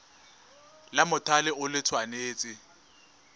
la mothale o le tshwanetse